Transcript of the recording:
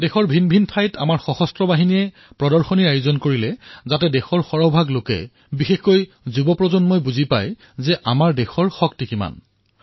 দেশৰ বিভিন্ন প্ৰান্তত আমাৰ সশস্ত্ৰ বাহিনীয়ে প্ৰদৰ্শনী অনুষ্ঠিত কৰিলে যাতে দেশৰ অধিকতম নাগৰিকে বিশেষকৈ তৰুণ প্ৰজন্মই আমাৰ শক্তিৰ বিষয়ে জানিব পাৰে